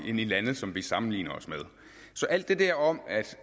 i lande som vi sammenligner os med så alt det der om